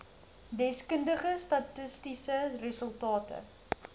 deskundige statistiese resultate